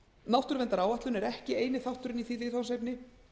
náttúruverndaráætlun er ekki eini þátturinn í því viðfangsefni